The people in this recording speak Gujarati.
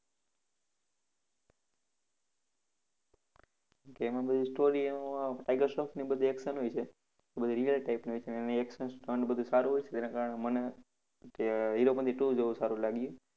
કે એમાં બૌ story એમાં ટાઈગર શ્રોફની બધી action હોય છે ઈ બધી real type ની હોય છે અને action stunts બધું સારું હોય છે. જેના કારણે મને કે હીરોપનતી two જોવું સારું લાગ્યું.